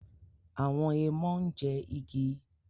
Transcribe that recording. Awọn èèmọ ń jẹ igi